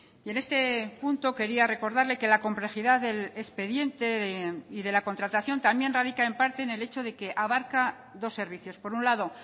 y en este punto quería recordarle que la complejidad del expediente y de la contratación también radica en parte en el hecho de que abarca dos servicios por un lado